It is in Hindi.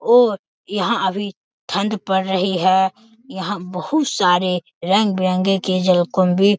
और यहां अभी ठंड पड़ रही है यहां बहुत सारे रंग बिरंगे केजल कुंड भी --